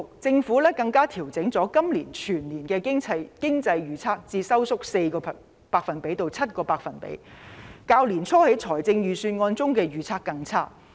政府更把今年全年經濟預測調整為收縮 4% 至 7%， 較年初預算案中的預測更差。